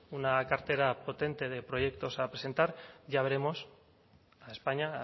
una cartera potente de proyectos a presentar ya veremos a españa